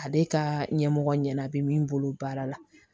Ale ka ɲɛmɔgɔ ɲɛna bi min bolo baara la